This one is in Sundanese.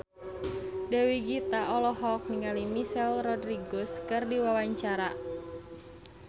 Dewi Gita olohok ningali Michelle Rodriguez keur diwawancara